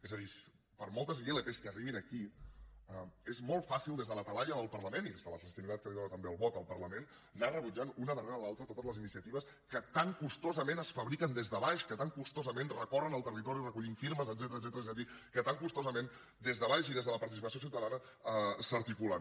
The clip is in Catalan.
és a dir per moltes ilp que arribin aquí és molt fàcil des de la talaia del parlament i des de la legitimitat que li dóna també el vot al parlament anar rebutjant una darrere l’altra totes les iniciatives que tan costosament es fabriquen des de baix que tan costosament recorren el territori recollint firmes etcètera és a dir que tan costosament des de baix i des de la participació ciutadana s’articulen